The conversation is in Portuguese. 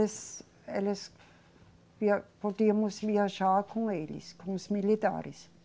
Eles, podíamos viajar com eles, com os militares.